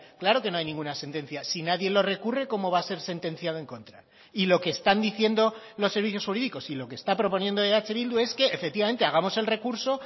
claro que no hay ninguna sentencia si nadie lo recurre cómo va a ser sentenciado en contra y lo que están diciendo los servicios jurídicos y lo que está proponiendo eh bildu es que efectivamente hagamos el recurso